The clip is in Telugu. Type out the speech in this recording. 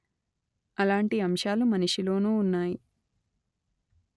అలాంటి అంశాలు మనిషిలోనూ ఉన్నాయి